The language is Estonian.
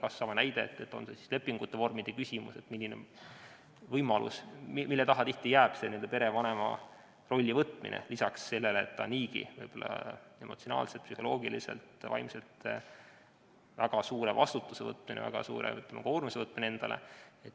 Kas või see näide, et pahatihti jääb lepingute või mingite vormide taha perevanema rolli võtmine, peale selle, et see on niigi juba emotsionaalselt, psühholoogiliselt ja vaimselt väga suur vastutus ja endale väga suure koormuse võtmine.